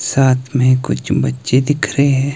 साथ में कुछ चम्मचे दिख रहे हैं।